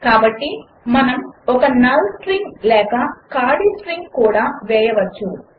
కాబట్టి మనము ఒక నల్ స్ట్రింగ్ లేక ఖాళీ స్ట్రింగ్ కూడా వేయవచ్చు